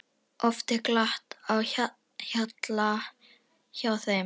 Oft er glatt á hjalla hjá þeim.